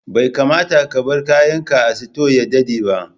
Bai kamata ka bar kayan ka a sito ya daɗa ba